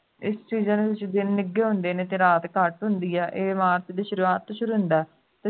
ਇਸ season ਦੇ ਵਿਚ ਦਿਨ ਨਿੱਗੇ ਹੁੰਦੇ ਨੇ ਤੇ ਰਾਤ ਘੱਟ ਹੁੰਦੀ ਹੈ ਇਹ march ਦੀ ਸ਼ੁਰੂਆਤ ਤੋਂ ਸ਼ੁਰੂ ਹੁੰਦਾ ਹੈ